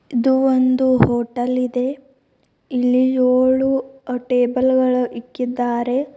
ಇದು ಒಂದು ಹೋಟೆಲ್ ಇದೆ ಇಲ್ಲಿ ಯೋಳು ಟೇಬಲ್ ಗಳ ಇಕ್ಕಿದ್ದಾರೆ.